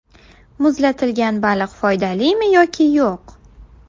Muzlatilgan baliq foydalimi yoki yo‘q?.